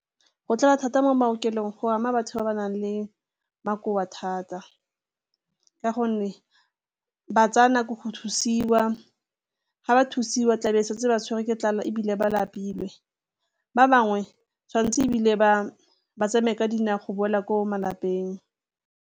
Go tlala thata mo maokelong go ama batho ba ba nang le makoa thata ka gonne ba tsaya nako go thusiwa, ga ba thusiwa tlabe e setse ba tshwere ke tlala ebile ba lapile, ba bangwe tshwanetse ebile ba bo ba tsamaye ka dinao go boela ko malapeng.